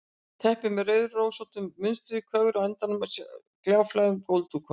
Teppi með rauðrósóttu munstri og kögri á endunum á gljáfægðum gólfdúknum.